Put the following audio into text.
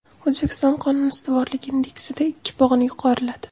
O‘zbekiston Qonun ustuvorligi indeksida ikki pog‘ona yuqoriladi.